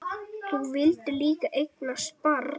Þú vildir líka eignast barn.